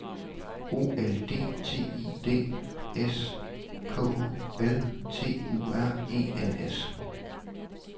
O L D T I D S K U L T U R E N S